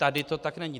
Tady to tak není.